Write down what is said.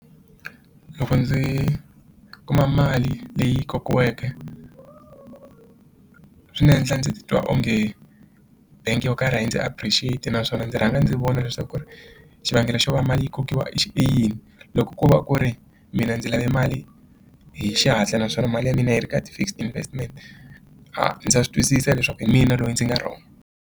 Loko ndzi kuma mali leyi kokiweke swi ndzi endla ndzi titwa onge bangi yo karhi a yi ndzi appreciate naswona ndzi rhanga ndzi vona leswaku ri xivangelo xo va mali yi kokiwa i yini loko ko va ku ri mina ndzi lave mali hi xihatla naswona mali ya mina yi ri ka ti fixed investment a ndza swi twisisa leswaku hi mina loyi ndzi nga wrong.